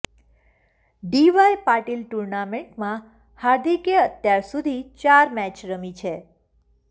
D Y Patil ટૂર્નામેન્ટમાં હાર્દિકે અત્યાર સુધી ચાર મેચ રમી છે